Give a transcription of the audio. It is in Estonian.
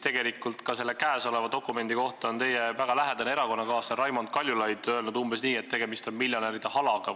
Selle tänavuse dokumendi kohta on teie väga lähedane erakonnakaaslane Raimond Kaljulaid öelnud umbes nii, et tegemist on miljonäride halaga.